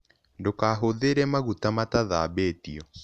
Ndũkahũthĩre magũta matathambĩtĩo